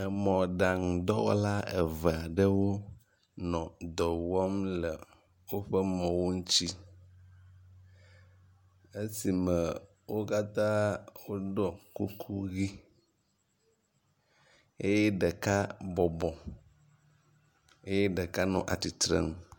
Emɔɖaŋudɔwɔla eve aɖewo nɔ dɔ wɔm le woƒe mɔwo ŋuti. Esi me wo katã ɖɔ kuku ʋi eye ɖeka bɔbɔ eye ɖeka nɔ atsitre nu.